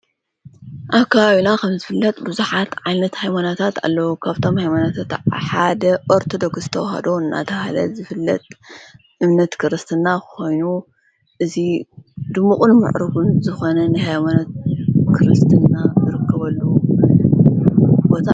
አብ ከባቢና ኸም ዝፍለጥ ብዙኃት ዓይነት ሃይማኖታት ኣለዉ ካብቶም ሃይማኖታት ሓደ ኦርተዶክስ ተዋሃዶ እናተሃለት ዝፍለጥ እምነት ክርስትና ኾይኑ እዙይ ድምቕን ምዕሩግን ዝኾነን ሓይሞነት ክርስትና ዝርከበሉ አዩ::